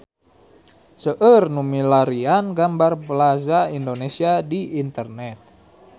Seueur nu milarian gambar Plaza Indonesia di internet